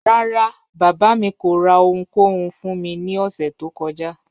Ràrá, baba mi kò rà ọ̀hùnkòhùn fún mí ni òṣẹ tó kọ́jà